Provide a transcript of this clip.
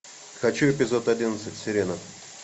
хочу эпизод одиннадцать сирена